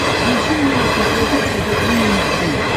включи мне на смотрешке тв три эйч ди